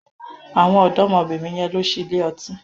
Àwọn ọ̀dọ́mọbìnrin yẹn lọ sí ilé ọtí.